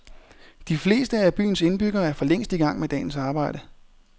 De fleste af byens indbyggere er forlængst i gang med dagens arbejde.